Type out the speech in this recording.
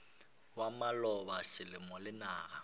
ya maloba selemo le naga